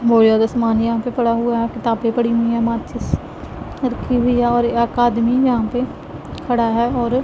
बहुत ज्यादा समान यहां पे पड़ा हुआ है किताबें पड़ी हुई है माचिस रखी हुई हैं और एक आदमी यहां पे खड़ा है और--